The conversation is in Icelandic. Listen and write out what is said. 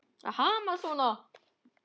Að hamast svona.